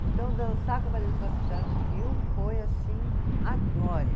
Então, dançar com a no Rio foi, assim, a glória.